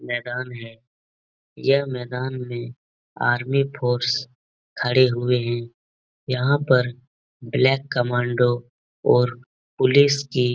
मैदान है। यह मैदान में आर्मी फ़ोर्स खड़े हुए हैं। यहाँ पर ब्लैक कमांडो और पुलिस की --